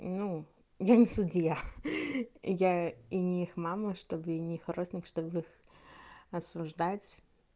ну я не судья я и них мама чтобы не хроник чтобы осуждать